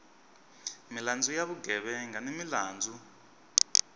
milandzu ya vugevenga ni milandzu